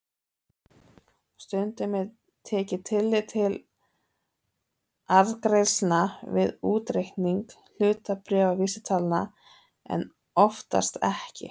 Stundum er tekið tillit til arðgreiðslna við útreikning hlutabréfavísitalna en oftast ekki.